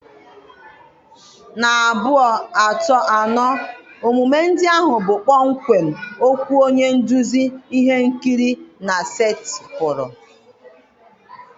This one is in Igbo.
na abuo, ato, ano omume ndị ahụ bụ kpọmkwem okwu onye nduzi ihe nkiri na setịpụrụ.